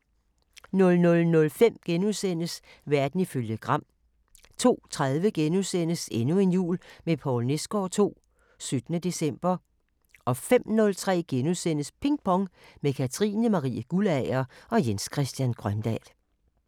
00:05: Verden ifølge Gram * 02:30: Endnu en jul med Poul Nesgaard II – 17. december * 05:03: Ping Pong – med Katrine Marie Guldager og Jens Christian Grøndahl *